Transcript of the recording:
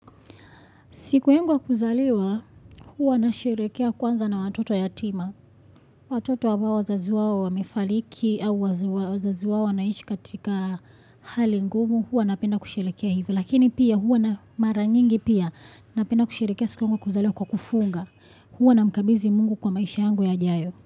Siku yangu ya kuzaliwa, huwa nasherehekea kwanza na watoto yatima. Watoto ambao wazazi wao wamefariki, au wazazi wao wanaishi katika hali ngumu, huwa napenda kusherehekea hivyo. Lakini pia, huwa na mara nyingi pia napenda kusherehekea siku yangu ya kuzaliwa kwa kufunga. Huwa namkabizi mungu kwa maisha yangu yajayo.